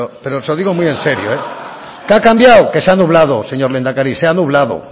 pero se lo digo muy en serio qué ha cambiado que se ha nublado señor lehendakari se ha nublado